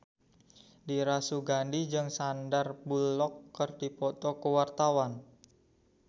Dira Sugandi jeung Sandar Bullock keur dipoto ku wartawan